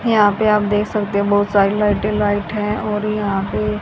यहां पे आप देख सकते हो बहुत सारी लाइटें लाइट है और यहां पे--